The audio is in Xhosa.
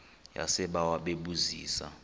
yasebawa bebu zisa